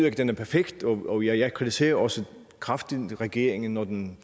at den er perfekt og jeg kritiserer også kraftigt regeringen når den